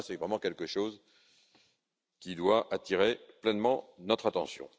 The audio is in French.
C'est vraiment quelque chose qui doit attirer pleinement notre attention.